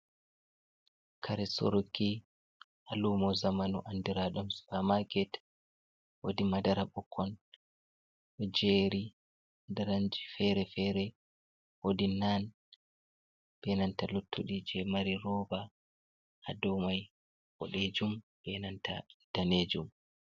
Karéh soruki ha lumo zamanu andiraɗum supamaket wodi madara bikkon do jeri daranji fere-fere wodi nan benanta luttudi je mari rovb haɗou mai boɗejum benanta danejum.